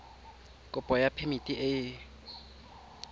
kopo ya phemiti e e